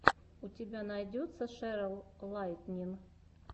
у тебя найдется шерл лайтнин